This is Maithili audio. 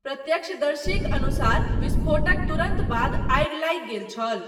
प्रत्यक्षदर्शीक अनुसार, विस्फोटक तुरन्त बाद आगि लागि गेल छल।